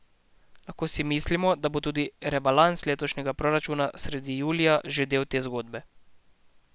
Lahko si mislimo, da bo tudi rebalans letošnjega proračuna sredi julija že del te zgodbe.